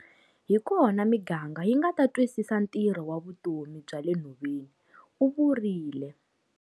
Hi kona miganga yi nga ta twisisa ntirho wa vutomi bya le nhoveni, u vurile.